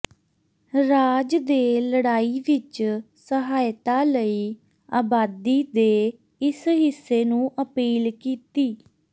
ਰਾਜ ਦੇ ਲੜਾਈ ਵਿੱਚ ਸਹਾਇਤਾ ਲਈ ਆਬਾਦੀ ਦੇ ਇਸ ਹਿੱਸੇ ਨੂੰ ਅਪੀਲ ਕੀਤੀ